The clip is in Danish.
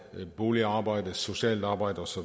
boligarbejde socialt arbejde osv